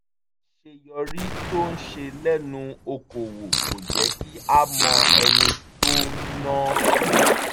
àṣeyọrí tó ń ṣe lẹ́nu okòwò kò jẹ́ kí á mọ ẹni tó ń náwó